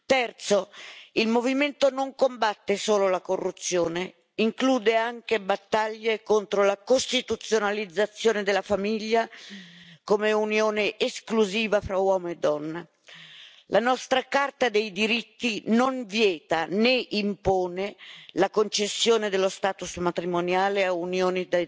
Terzo, il movimento non combatte solo la corruzione, include anche battaglie contro la costituzionalizzazione della famiglia come unione esclusiva fra uomo e donna. La nostra Carta dei diritti non vieta né impone la concessione dello status matrimoniale a unioni